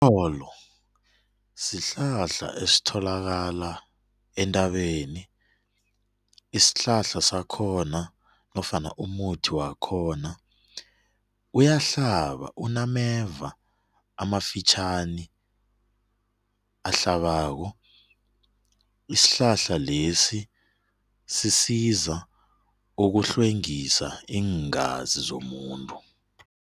Umtholo sihlahla esitholakala entabeni, isihlahla sakhona nofana umuthi wakhona uyahlaba unameva amafitjhani ahlabako, isihlahla lesi sisiza ukuhlwengisa iingazi zomuntu.